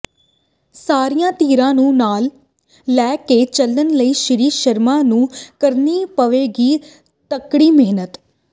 ਸਾਰੀਆਂ ਧਿਰਾਂ ਨੂੰ ਨਾਲ ਲੈ ਕੇ ਚਲਣ ਲਈ ਸ੍ਰੀ ਸ਼ਰਮਾ ਨੂੰ ਕਰਨੀ ਪਵੇਗੀ ਤਕੜੀ ਮਿਹਨਤ